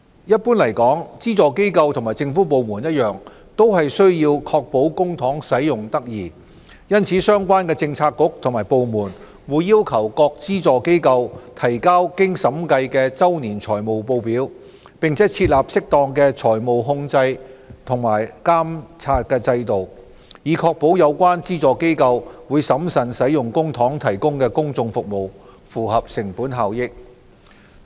一般來說，資助機構與政府部門一樣，均須確保公帑使用得宜，因此相關的政策局和部門會要求各資助機構提交經審計的周年財務報表，並設立適當的財務控制及監察制度，以確保有關資助機構會審慎使用公帑提供公眾服務，符合成本效益。